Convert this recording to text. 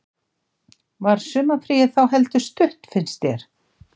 Telma: Var sumarfríið þá heldur stutt finnst þér?